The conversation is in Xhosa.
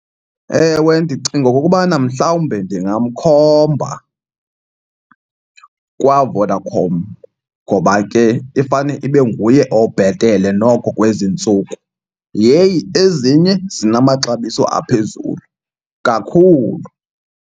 Ewe, ndicinga okokubana mhlawumbe ndingamkhomba kwaVodacom ngoba ke ifane ibe nguye obhetele noko kwezi ntsuku. Yheyi, ezinye zinamaxabiso aphezulu kakhulu!